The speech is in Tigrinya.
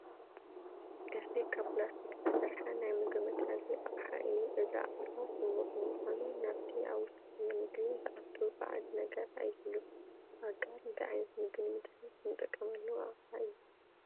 እዚ ካብ ፕላስቲክ ዝተሰርሐ ናይ ምግቢ መትሓዚ ኣቕሓ እዩ፡፡ እዚ ኣቕሓ ስሙር ብምዃኑ ናብቲ ኣብ ውሽጡ ዘሎ ምግቢ ዝኣቱ ባእድ ነገር ኣይህሉን፡፡ ኣጋር እንታይ ዓይነት ምግቢ ንምትሓዝ ንጥቀመሉ ኣቕሓ እዩ?